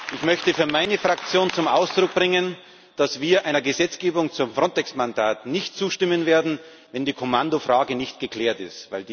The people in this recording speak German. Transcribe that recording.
Ich möchte für meine Fraktion zum Ausdruck bringen, dass wir einer Gesetzgebung zum Frontex Mandat nicht zustimmen werden, wenn die Kommandofrage nicht geklärt ist.